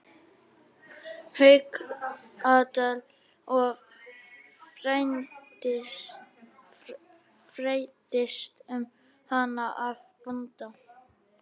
Haukadal og fræddist um hana af bónda.